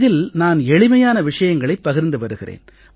இதில் நான் எளிமையான விஷயங்களைப் பகிர்ந்து வருகிறேன்